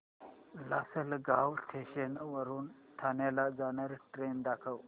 Lasalgaon station वरून ठाण्याला जाणारी ट्रेन दाखव